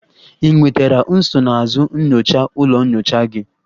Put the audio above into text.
Ị nwetara nsonaazụ nyocha ụlọ nyocha gị?